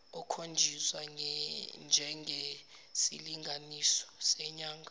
ekhonjiswa njengesilinganiso senyanga